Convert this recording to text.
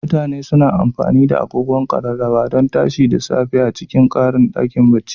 mutane suna amfani da agogon Ƙararrawa don tashi da safe a cikin ɗakin barci.